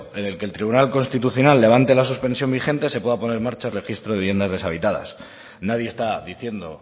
en el que el tribunal constitucional levante la suspensión vigente se pueda poner en marcha el registro de viviendas deshabitadas nadie está diciendo